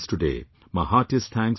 My heartiest thanks to you all